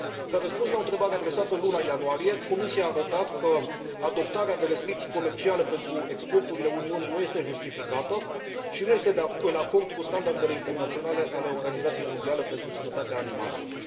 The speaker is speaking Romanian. Ca răspuns la o întrebare adresată în luna ianuarie, Comisia a arătat că adoptarea de restricții comerciale pentru exporturile Uniunii nu este justificată și nu este în acord cu standardele internaționale ale Organizației Mondiale pentru Sănătatea Animalelor.